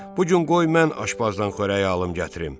Bu gün qoy mən aşbazdan xörəyi alım gətrim.